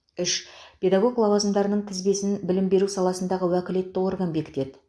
үш педагог лауазымдарының тізбесін білім беру саласындағы уәкілетті орган бекітеді